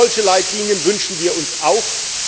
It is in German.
Solche Leitlinien wünschen wir uns auch.